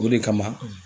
O de kama